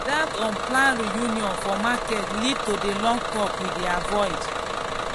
that unplanned reunion for market lead to the long talk we dey avoid.